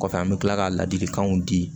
Kɔfɛ an bɛ tila ka ladilikanw di